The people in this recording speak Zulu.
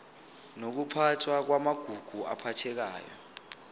nokuphathwa kwamagugu aphathekayo